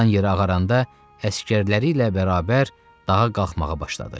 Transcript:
Dan yeri ağaranda əsgərləri ilə bərabər dağa qalxmağa başladı.